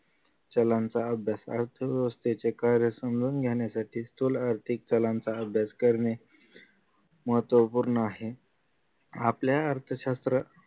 चालांचा अभ्यास अर्थ असते जे कार्य समजून घेण्यासाठी स्थूल आर्थिक चलांचा अभ्यास करणे महत्त्वपूर्ण आहे आपल्या अर्थशास्त्र